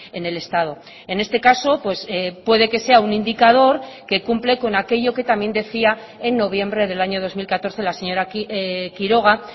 en el estado en este caso puede que sea un indicador que cumple con aquello que también decía en noviembre del año dos mil catorce la señora quiroga